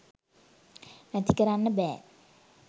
නැති කරන්න බෑ